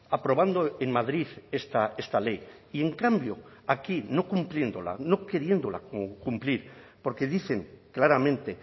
aprobando en madrid esta ley y en cambio aquí no cumpliéndola no queriéndola cumplir porque dicen claramente